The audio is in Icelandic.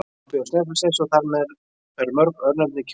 Hann bjó á Snæfellsnesi og þar eru mörg örnefni kennd við hann.